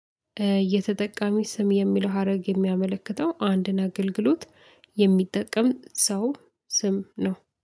የተጠቃሚው። ስም የሚለው ሀረግ የሚያመለክተው አንድን አገልግሎት የሚጠቀም ሰው ስም ነው።